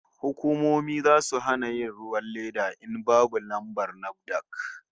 Hukumomi zasu hana yin ruwan leda in babu lambar NAFDAC